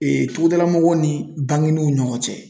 Ee tugudala mɔgɔw ni bangenew ni ɲɔgɔn cɛ